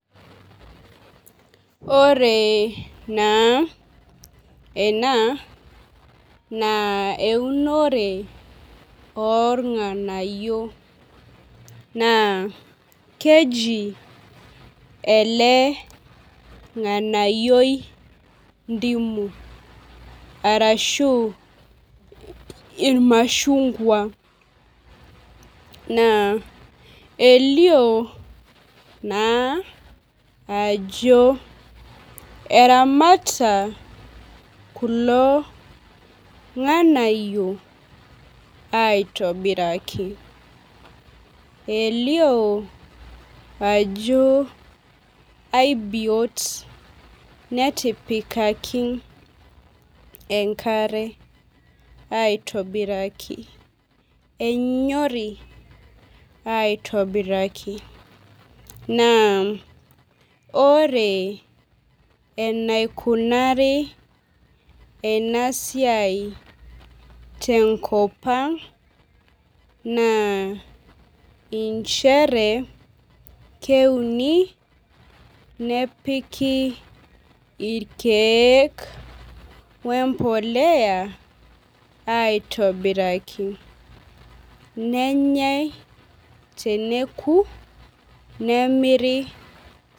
Ore naa ena naa eunore oo irng'anayio naa keji ele ng'anayioi ndimu arashu irmashunkua naa elio naa ajo eremata kulo ng'anayio aitobiraki. Elio ajo aibiyot netipkaki enkare aitobit=raki enyorii aitobiraki. Naa ore ainakunari ena siai te nkop ang' naa nchere keuni neoiki irkeek wee mboleya aitobiraki. Nenyae teneku nemiri.